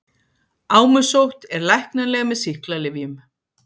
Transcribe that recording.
Ámusótt er læknanleg með sýklalyfjum.